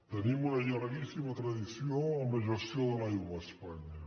tenim una llarguíssima tradició en la gestió de l’aigua a espanya